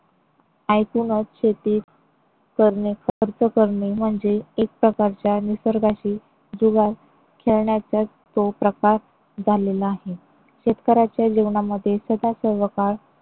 आयतूनच शेती करणे खर्च करणे म्हणजे एक प्रकारच्या निसर्गाशी जुगार खेळण्याचाच तो प्रकार झालेला आहे. शेतकऱ्याच्या जेवणामध्ये सदासर्वकाळ